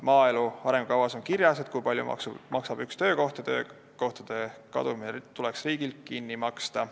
Maaelu arengukavas on kirjas, kui palju maksab üks töökoht, ja töökohtade kadumine tuleks riigil kinni maksta.